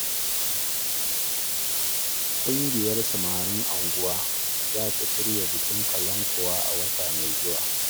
Ƙungiyar samarin unguwar za ta shirya bikin kalankuwa a wata mai zuwa